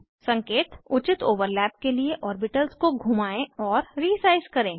संकेत उचित ओवरलैप के लिए ऑर्बिटल्स को घुमाएं और रीसाइज़ करें